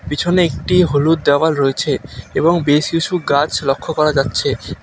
পিছনে একটি হলুদ দেওয়াল রয়েছে এবং বেশি কিছু গাছ লক্ষ্য করা যাচ্ছে।